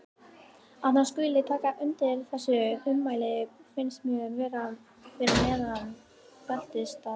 Að hann skuli taka undir þessi ummæli finnst mér vera fyrir neðan beltisstað.